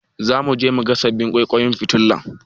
Zamu je muga sababbin ƙwaiƙwayen fitilar.